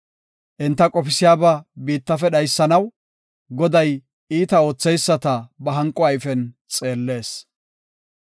Enta qofisiyaba biittafe dhaysanaw, Goday iita ootheyisata ba hanqo ayfen xeellees.